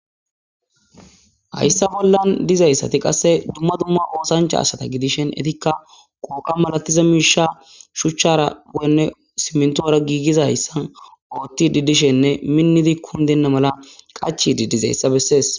Hayssa bolla dizaysati qase Duma Duma osdanchay asata gidishin qoqa malatiza mishi shuchataNe simintara yizaysa Ottidi dishene Minidi kindena mala Qachidi Dizaysa beses